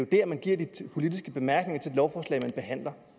der man giver de politiske bemærkninger til de lovforslag man behandler